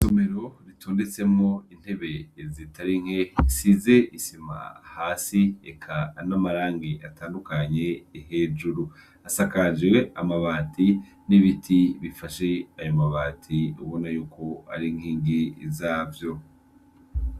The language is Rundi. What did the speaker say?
Isomero ritondetsemw'intebe zitarinke zisiz' isima hasi, eka n' amarang' atandukanye, hejur' asakaj' amabati n' ibiti bifash' ay' amabat' ubonayuk' arinkingi zavyo.